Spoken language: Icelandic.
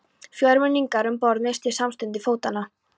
Fjórmenningarnir um borð misstu samstundis fótanna.